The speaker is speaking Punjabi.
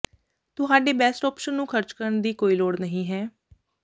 ਤੁਹਾਡੇ ਬੈਸਟ ਔਪਸ਼ਨ ਨੂੰ ਖਰਚ ਕਰਨ ਦੀ ਕੋਈ ਲੋੜ ਨਹੀਂ ਹੈ